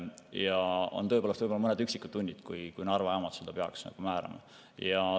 Ja on tõepoolest võib-olla mõned üksikud tunnid, kui Narva jaamad seda peaks määrama.